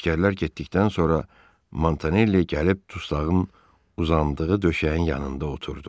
Əsgərlər getdikdən sonra Montanelli gəlib dusağın uzandığı döşəyin yanında oturdu.